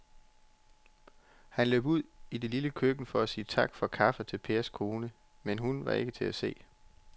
Han løb ud i det lille køkken for at sige tak for kaffe til Pers kone, men hun var ikke til at se.